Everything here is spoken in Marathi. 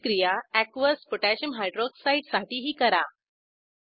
हीच क्रिया एकियस पोटॅशियम Hydroxideaqकोह साठीही करा